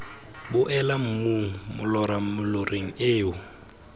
boela mmung molora moloreng eo